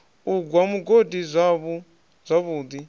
u gwa mugodi zwavhu ḓi